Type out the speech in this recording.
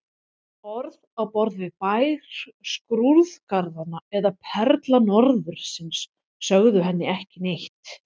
Orð á borð við Bær skrúðgarðanna eða Perla norðursins sögðu henni ekki neitt.